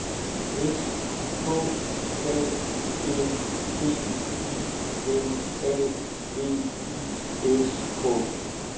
S K A N D I N A V I S K